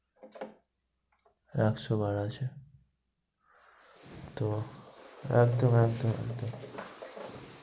একশো বার আছে। তো, একদম একদম